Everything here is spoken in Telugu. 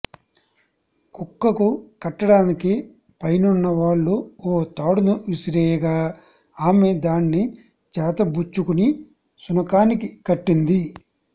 కుక్కకు కట్టడానికి పైనున్న వాళ్లు ఓ తాడును విసిరేయగా ఆమె దాన్ని చేతబుచ్చుకుని శునకానికి కట్టింది